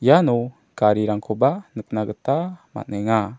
iano garirangkoba nikna gita man·enga.